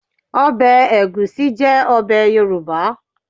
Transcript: Ọbẹ̀ ẹ̀gúsí jẹ́ ọbẹ̀ Yorùbá